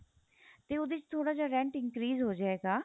ਤੇ ਉਹਦੇ ਚ ਥੋੜਾ ਜਾ rent increase ਹੋ ਜਾਏਗਾ